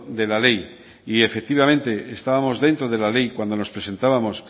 de la ley y efectivamente estábamos dentro de la ley cuando nos presentábamos